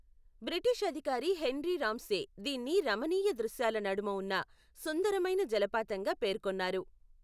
British అధికారి Henry Ramsay దీన్ని రమణీయ దృశ్యాల నడుమ ఉన్న సుందరమైన జలపాతంగా పేర్కొన్నారు.